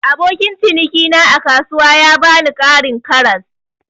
Abokin ciniki na a kasuwa ya bani Karin karas.